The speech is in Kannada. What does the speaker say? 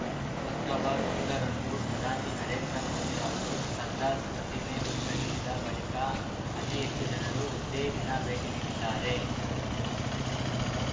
ಅಕ್ಟೋಬರ್‌ ಒಂದರಂದು ಪ್ರಧಾನಿ ನರೇಂದ್ರ ಮೋದಿ ಅವರು ಸರ್ದಾರ್ ಪ್ರತಿಮೆ ಉದ್ಘಟಿಸಿದ ಬಳಿಕ ಅತಿ ಹೆಚ್ಚು ಜನರು ಒಂದೇ ದಿನ ಭೇಟಿ ನೀಡಿದ್ದಾರೆ